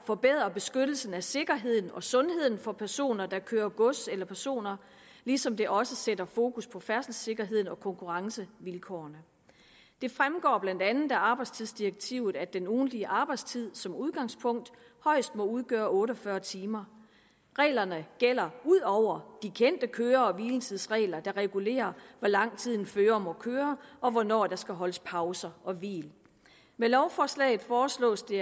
forbedre beskyttelsen af sikkerheden og sundheden for personer der kører med gods eller personer ligesom det også sætter fokus på færdselssikkerheden og konkurrencevilkårene det fremgår blandt andet af arbejdstidsdirektivet at den ugentlige arbejdstid som udgangspunkt højst må udgøre otte og fyrre timer reglerne gælder ud over de kendte køre og hviletidsregler der regulerer hvor lang tid en fører må køre og hvornår der skal holdes pauser og hvil med lovforslaget foreslås det